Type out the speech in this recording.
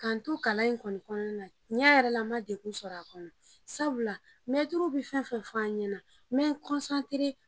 kalan in kɔni kɔnɔna na, tiɲan yɛrɛ la, n ma degun sɔrɔ a kɔnɔ, sabu la, mɛtiriw bɛ fɛn o fɛn f'an ɲɛna, n bɛ n .